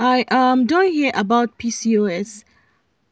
i um don hear about pcos